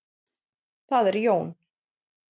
Það er Jón.